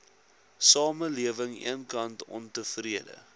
samelewing eenkant ontevrede